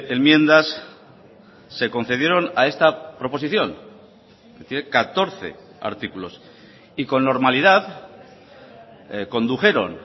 enmiendas se concedieron a esta proposición es decir catorce artículos y con normalidad condujeron